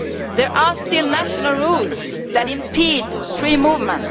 There are still national rules that impede free movement